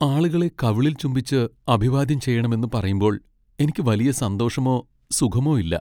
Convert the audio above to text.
ആളുകളെ കവിളിൽ ചുംബിച്ച് അഭിവാദ്യം ചെയ്യണമെന്ന് പറയുമ്പോൾ എനിക്ക് വലിയ സന്തോഷമോ സുഖമോ ഇല്ല.